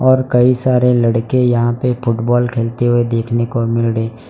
और कई सारे लड़के यहां पे फुटबॉल खेलते हुए देखने को मिल रहे --